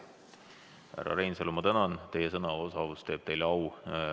Härra Reinsalu, ma tänan, teie sõnaosavus teeb teile au!